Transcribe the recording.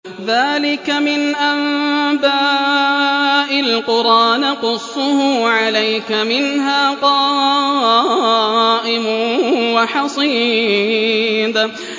ذَٰلِكَ مِنْ أَنبَاءِ الْقُرَىٰ نَقُصُّهُ عَلَيْكَ ۖ مِنْهَا قَائِمٌ وَحَصِيدٌ